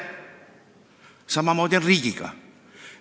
Samamoodi on riigiga.